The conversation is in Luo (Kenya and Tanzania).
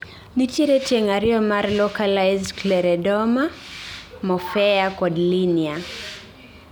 nitiero tieng' ariyo mar localised scleroderma: morphea kod linear